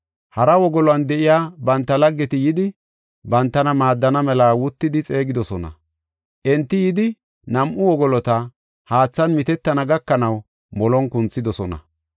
Hara wogolon de7iya banta laggeti yidi, bantana maaddana mela wuttidi xeegidosona. Enti yidi nam7u wogoloti, haathan mitettana gakanaw molon kunthidosona.